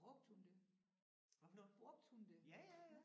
Brugte hun det? Brugte hun det?